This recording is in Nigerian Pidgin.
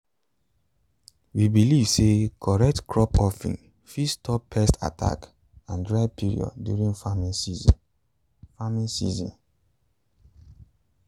we believe say correct crop offering fit stop pest attack and dry period during farming season. farming season.